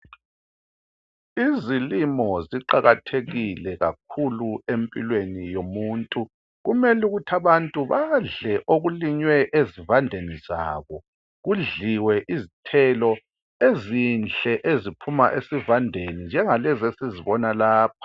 Izilimo ziqakathekile kakhulu empilweni yomuntu. Kumele ukuthi abantu badle okulinywe ezivandeni zabo, kudliwe izithelo ezinhle eziphuma esivandeni njengalezi esizibona lapha.